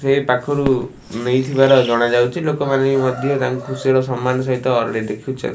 ହେଇ ପାଖୁରୁ ନେଇଥିବାର ଜଣା ଯାଉଚି ଲୋକମାନେ ବି ମଧ୍ୟ ତାଙ୍କୁ ଖୁସିର ସମ୍ମାନ ସହିତ ଦେଖୁଚ --